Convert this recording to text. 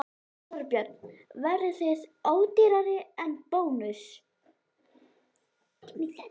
Þorbjörn: Verðið þið ódýrari en Bónus?